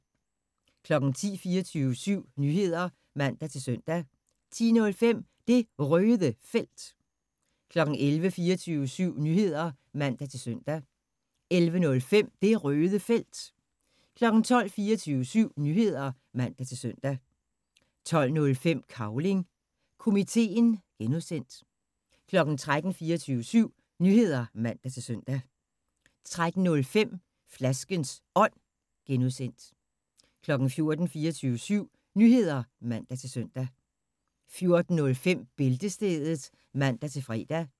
10:00: 24syv Nyheder (man-søn) 10:05: Det Røde Felt 11:00: 24syv Nyheder (man-søn) 11:05: Det Røde Felt 12:00: 24syv Nyheder (man-søn) 12:05: Cavling Komiteen (G) 13:00: 24syv Nyheder (man-søn) 13:05: Flaskens Ånd (G) 14:00: 24syv Nyheder (man-søn) 14:05: Bæltestedet (man-fre)